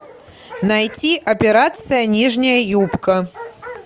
найти операция нижняя юбка